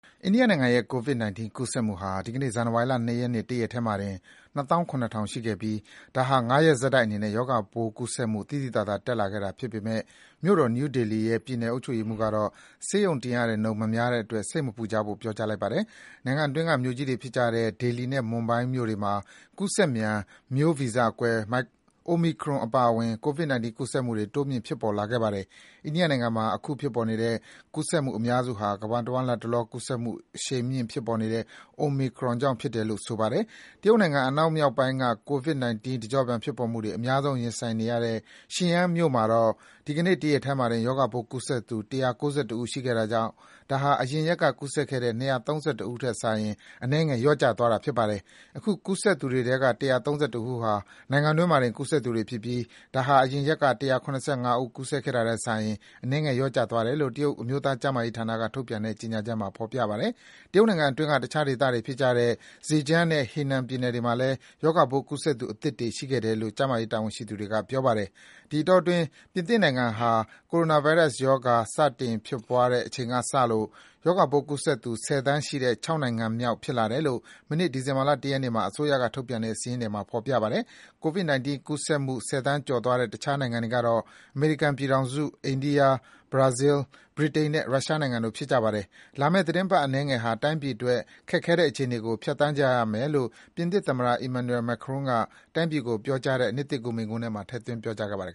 အိန္ဒိယနိုင်ငံရဲ့ COVID-19 ကူးစက်မှုဟာ ဒီကနေ့ ဇန်နဝါရီလ ၂ ရက်နေ့ တရက်တည်းမှာ ၂၇,၀၀၀ ရှိခဲ့ပြီး ဒါဟာ ၅ ရက်ဆက်တိုက်အနေနဲ့ ရောဂါပိုးကူးစက်မှု သိသိသာသာ တက်လာခဲ့တာ ဖြစ်ပေမယ့် မြို့တော် နယူးဒေလီရဲ့ ပြည်နယ်အုပ်ချုပ်ရေးမှူးကတော့ ဆေးရုံတင်ရတဲ့နှုန်း မများတဲ့အတွက် စိတ်မပူကြဖို့ ပြောကြားလိုက်ပါတယ်။ နိုင်ငံအတွင်းက မြို့ကြီးတွေဖြစ်ကြတဲ့ ဒေလီနဲ့ မွမ်ဘိုင်းမြို့တွေမှာ ကူးစက်မြန် မျိုးဗီဇကွဲ Omicron အပါအဝင် COVID-19 ကူးစက်မှုတွေ တိုးမြင့် ဖြစ်ပေါ်လာခဲ့ပါတယ်။ အိန္ဒိယနိုင်ငံမှာ အခုဖြစ်ပေါ်နေတဲ့ ကူးစက်မှုအများစုဟာ ကမ္ဘာတဝန်း လတ်တလော ကူးစက်မှုတွေ အရှိန်မြင့် ဖြစ်ပေါ်နေတဲ့ Omicron ကြောင့် ဖြစ်တယ်လို့ ဆိုပါတယ်။ တရုတ်နိုင်ငံ အနောက်မြောက်ပိုင်းက COVID-19 တကျော့ပြန် ဖြစ်ပေါ်မှုတွေ အများဆုံး ရင်ဆိုင်နေရတဲ့ Xian မြို့မှာတော့ ဒီကနေ့ တရက်တည်းမှာတင် ရောဂါပိုးကူးစက်သူ ၁၉၁ ဦး ရှိခဲ့တာကြောင့် ဒါဟာ အရင်ရက်က ကူးစက်ခဲ့တဲ့ ၂၃၁ ဦးထက်စာရင် အနည်းငယ် လျော့ကျသွားတာ ဖြစ်ပါတယ်။ အခု အသစ်ကူးစက်သူတွေထဲက ၁၃၁ ဦးဟာ နိုင်ငံတွင်းမှာတင် ကူးစက်သူတွေဖြစ်ပြီး ဒါဟာ အရင်ရက်က ၁၇၅ ဦး ကူးစက်ခဲ့တာထက်စာရင် အနည်းငယ် လျော့ကျသွားတယ်လို့ တရုတ်အမျိုးသားကျန်းမာရေးဌာနက ထုတ်ပြန်တဲ့ ကြေညာချက်မှာ ဖော်ပြထားပါတယ်။ တရုတ်နိုင်ငံအတွင်းက တခြားဒေသတွေဖြစ်ကြတဲ့ Zhejiang နဲ့ Henan ပြည်နယ်တွေမှာလည်း ရောဂါပိုးကူးစက်သူ အသစ်တွေ ရှိခဲ့တယ်လို့ ဆိုပါတယ်။ ဒီအတောအတွင်း ပြင်သစ်နိုင်ငံဟာ ဒီ ကိုရိုနာဗိုင်းရပ်စ် ကပ်ရောဂါ စတင်ဖြစ်ပွားတဲ့ အချိန်ကစလို့ ရောဂါပိုးကူးစက်သူ ၁၀ သန်းရှိတဲ့ ၆ နိုင်ငံမြောက် ဖြစ်လာတယ်လို့ မနေ့ ဒီဇင်ဘာ ၁ ရက်နေ့မှာ အစိုးရကထုတ်ပြန်တဲ့ စာရင်းတွေမှာ ဖော်ပြထားပါတယ်။ COVID-19 ကူးစက်မှု ၁၀ သန်းကျော်သွားတဲ့ တခြားနိုင်ငံတွေကတော့ အမေရိကန်ပြည်ထောင်စု၊ အိန္ဒိယ၊ ဘရာဇီး၊ ဗြိတိန်နဲ့ ရုရှားနိုင်ငံတို့ ဖြစ်ကြပါတယ်။ လာမယ့် သီတင်းပတ်အနည်းငယ်ဟာ တိုင်းပြည်အတွက် ခက်ခဲတဲ့ အခြေအနေကို ဖြတ်သန်းကြရမယ်လို့ ပြင်သစ်သမ္မတ Emmanuel Macron က တိုင်းပြည်ကို ပြောကြားတဲ့ နှစ်သစ်ကူး မိန့်ခွန်းထဲမှာ ထည့်သွင်း ပြောကြားခဲ့ပါတယ်